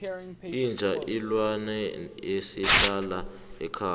inja ilwane esihlala ekhaya